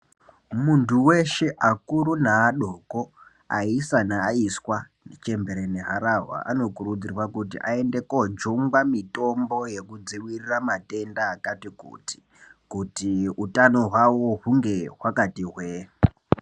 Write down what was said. Muntu weshe akuru ne adoko aisa ne aiswa chembere ne harahwa ano kurudzirwa kuti ayende ko jungwa mitombo yeku dzivirira matenda akati kuti kuti utano hwawo hunge hwakati hwee.